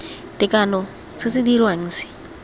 tekano se se dirwang se